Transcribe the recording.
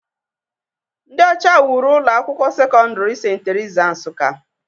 Ndị ọcha wuru ụlọ akwụkwọ sekọndrị St. Theresa, Nsukka.